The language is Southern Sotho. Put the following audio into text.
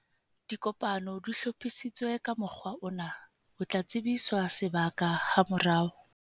Dikopano di hlophisitswe ka mokgwa ona, o tla tsebiswa sebaka hamorao.